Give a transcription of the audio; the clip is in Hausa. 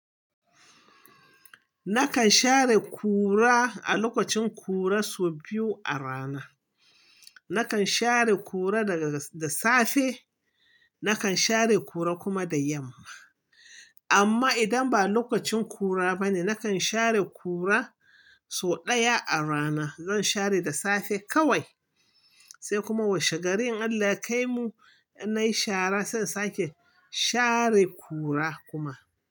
Nakan share ƙura a lokacin ƙura sau biyu a rana. Nakan share ƙura daga da safe, nakan share ƙura kuma da yamma. Amma idan ba lokacin ƙura ba ne, nakan share ƙura sau ɗaya a rana. Zan share da safe kawai, sai kuma washe garei in Allah yakai mu nayi shara, sannan sake share ƙura kuma.